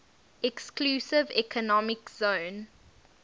exclusive economic zone